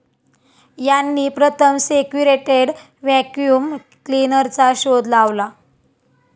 यांनी प्रथम सेक्यूरेटेड व्हॅक्यूम क्लीनर चा शोध लावला.